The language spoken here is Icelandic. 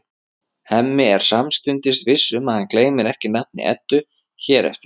Hemmi er samstundis viss um að hann gleymir ekki nafni Eddu hér eftir.